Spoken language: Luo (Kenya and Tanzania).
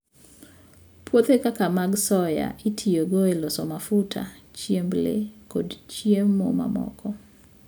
Puothe kaka mag soya itiyogo e loso mafuta, chiemb le, kod chiemo mamoko.